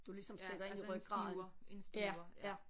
Ja altså en stiver en stiver ja